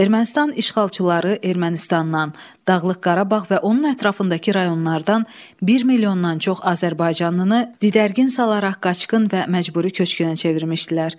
Ermənistan işğalçıları Ermənistandan, Dağlıq Qarabağ və onun ətrafındakı rayonlardan 1 milyondan çox azərbaycanlını didərgin salaraq qaçqın və məcburi köçkünə çevirmişdilər.